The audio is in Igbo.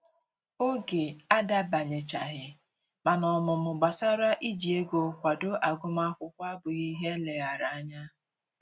Oge adabanyechaghị, mana ọmụmụ gbasara iji ego kwado agụmakwụkwọ abụghị ihe eleghara anya